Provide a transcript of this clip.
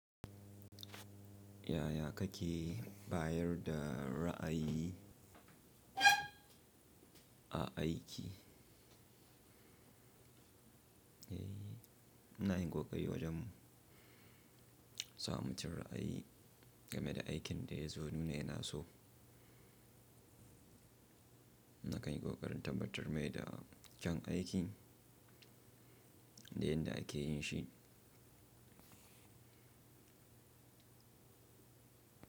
Yaya kake bayar da ra'ayi a aiki? Ina yin kokari wajen sa mutum ra'ayi game da aikin da ya zo nuna yana so. Na kan yi kokarin tabbatar mai da kyan aikin da yadda ake yin shi.